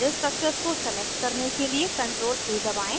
सारे structures को select करने के लिए ctrl + a दबाएं